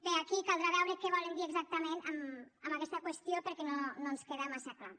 bé aquí caldrà veure què volen dir exactament amb aquesta qüestió perquè no ens queda massa clar